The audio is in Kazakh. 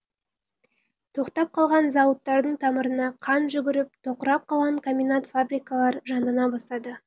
тоқтап қалған зауыттардың тамырына қан жүгіріп тоқырап қалған комбинат фабрикалар жандана бастады